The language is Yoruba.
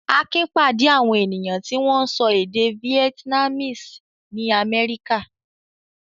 Akin pàdé àwọn ènìyàn tí wọ́n ń sọ èdè Vietnamese nií Amẹ́ríkà.